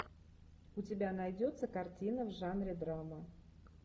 у тебя найдется картина в жанре драма